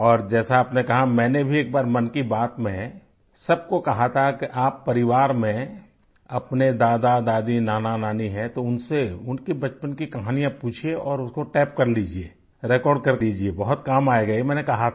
और जैसा आपने कहा मैंने भी एक बार मन की बात में सबको कहा था कि आप परिवार में अपने दादादादी नानानानी है तो उनसे उनकी बचपन की कहानियाँ पूछिए और उसको टेप कर लीजिये रेकॉर्ड कर के लीजिये बहुत काम आयेगा ये मैंने कहा था